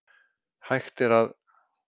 Hægt er að